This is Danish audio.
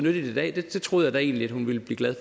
i dag det troede da jeg egentlig at hun ville blive glad